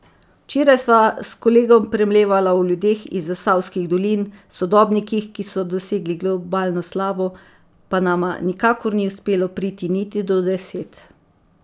Včeraj sva s kolegom premlevala o ljudeh iz zasavskih dolin, sodobnikih, ki so dosegli globalno slavo, pa nama nikakor ni uspelo priti niti do deset.